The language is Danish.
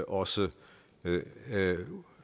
også